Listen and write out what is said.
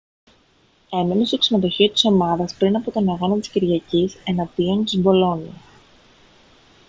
έμενε στο ξενοδοχείο της ομάδας πριν από τον αγώνα της κυριακής εναντίον της μπολόνια